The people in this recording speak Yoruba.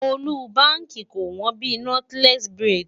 ọ́lúbaàkì kò wọ́n bíi Nọ́tílẹ́ẹ̀sì buredì.